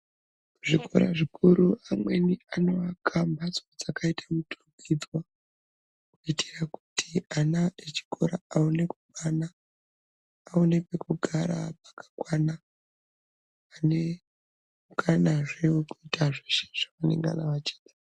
Zvikora zvikuru amweni anoake mpatso dzakàiwa muturukidzwa kuitira kuti ana echikora aone kukwana aona pekugara pakakwana ane mukanazve wekuita zveshe zvavanengana vachida.